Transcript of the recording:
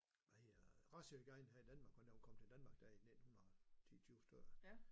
Hvad hedder det racehygiejne her i Danmark for han var kommet til danmark her i 1900 10 20 stykker